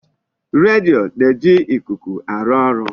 Redio na-eji ikuku arụ ọrụ.